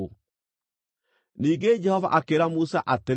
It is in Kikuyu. Ningĩ Jehova akĩĩra Musa atĩrĩ,